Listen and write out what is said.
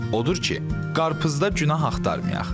Odur ki, qarpızda günah axtarmayaq.